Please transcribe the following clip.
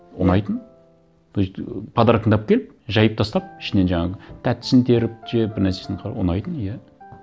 ұнайтын то есть ы подаркаңды алып келіп жайып тастап ішінен жаңағы тәттісін теріп жеп бір нәрсесін ұнайтын иә